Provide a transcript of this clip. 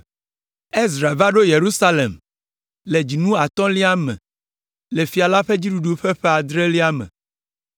Ezra va ɖo Yerusalem le dzinu atɔ̃lia me le fia la ƒe fiaɖuɖu ƒe ƒe adrelia me.